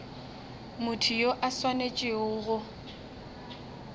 motho yo a swanetšego go